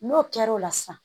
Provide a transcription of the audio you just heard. N'o kɛra o la sisan